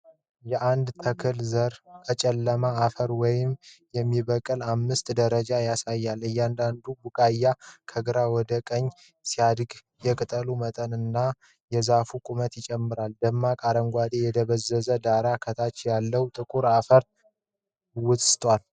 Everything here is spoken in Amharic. የአንድ ተክል ዘር ከጨለማ አፈር ውስጥ የሚበቅልበትን አምስት ደረጃዎች ያሳያል። እያንዳንዱ ቡቃያ ከግራ ወደ ቀኝ ሲያድግ፣ የቅጠሎቹ መጠን እና የዛፉ ቁመት ይጨምራል። ደማቅ አረንጓዴ የደበዘዘ ዳራ ከታች ያለውን ጥቁር አፈር ውስጥ።